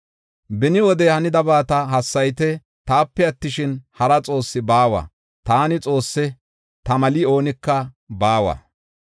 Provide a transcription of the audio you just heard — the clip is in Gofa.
Beni wode hanidabata hassayite; taape attishin, hara Xoossi baawa; taani Xoosse; ta meli oonika baawa.